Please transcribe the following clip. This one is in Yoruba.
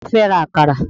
Ta ló fẹ́ ra àkàrà?